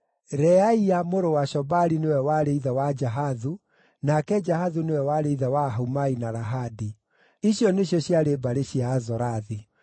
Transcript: Reaia mũrũ wa Shobali nĩwe warĩ ithe wa Jahathu, nake Jahathu nĩwe warĩ ithe wa Ahumai na Lahadi. Icio nĩcio ciarĩ mbarĩ cia Azorathi.